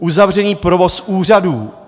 Uzavřený provoz úřadů.